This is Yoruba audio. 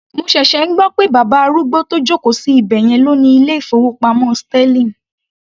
Mo ṣẹ̀ṣẹ̀ ń gbọ́ pé bàbá arúgbó tó joko sí ibẹ̀yẹn ló ni ilé ìfowópamọ́ sterling.